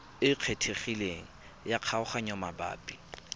e kgethegileng ya kgaoganyo mabapi